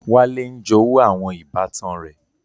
Wale ń jowú àwọn ìbátan rẹ.